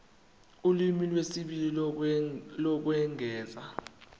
ulimi lwesibili lokwengeza